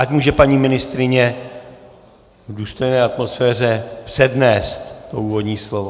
Ať může paní ministryně v důstojné atmosféře přednést to úvodní slovo.